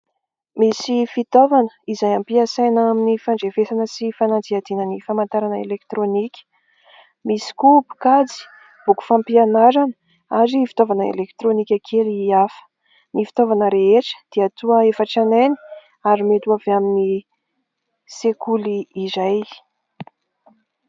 Misy fitaovana izay ampiasana amin'ny fandrefesana sy fanadihadiana ny famantarana elektirônika. Misy koa mpikajy, boky fampianarana ary fifitaovana elektirônika kely hafa. Ny fitaovana rehetra dia toa efa tranainy ary mety ho avy amin'ny sekoly iray.